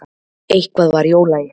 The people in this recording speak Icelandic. Eitthvað var í ólagi.